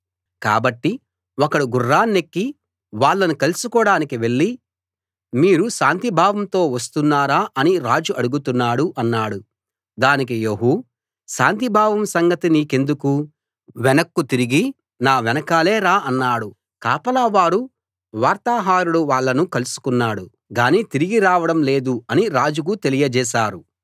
కాబట్టి ఒకడు గుర్రాన్నెక్కి వాళ్ళను కలుసుకోడానికి వెళ్ళి మీరు శాంతిభావంతో వస్తున్నారా అని రాజు అడుగుతున్నాడు అన్నాడు దానికి యెహూ శాంతిభావం సంగతి నీకెందుకు వెనక్కు తిరిగి నా వెనకాలే రా అన్నాడు కాపలా వారు వార్తాహరుడు వాళ్ళను కలుసుకున్నాడు గానీ తిరిగి రావడం లేదు అని రాజుకు తెలియజేశారు